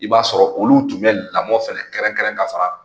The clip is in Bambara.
I b'a sɔrɔ olu tun bɛ lamɔ fɛnɛ kɛrɛnkɛrɛn ka fara